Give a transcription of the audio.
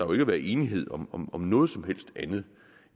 været enighed om om noget som helst andet